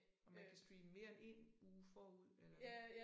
Og man kan streame mere end en ud forud eller hvad